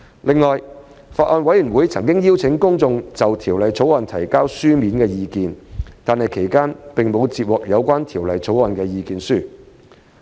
另外，法案委員會曾邀請公眾就《條例草案》提交書面意見，但其間並無接獲有關《條例草案》的意見書。